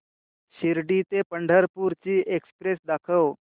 शिर्डी ते पंढरपूर ची एक्स्प्रेस दाखव